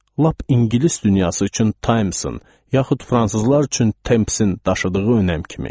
Lap ingilis dünyası üçün Timesın, yaxud fransızlar üçün Temsin daşıdığı önəm kimi.